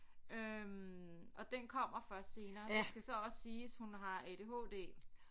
Øh og den kommer først senere det skal så også siges hun har ADHD